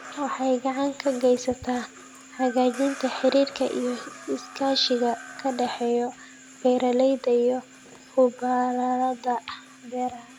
Waxay gacan ka geysataa hagaajinta xiriirka iyo iskaashiga ka dhexeeya beeralayda iyo khubarada beeraha.